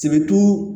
Sibiritu